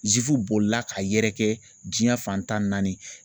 bolila ka yɛrɛ kɛ diɲɛ fan tan ni naani.